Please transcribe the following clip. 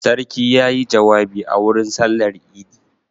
Sarki ya yi jawabi a wurin sallar idi.